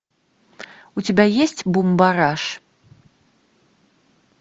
у тебя есть бумбараш